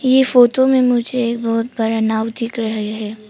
ये फोटो में मुझे एक बहुत बड़ा नाव दिख रहे है।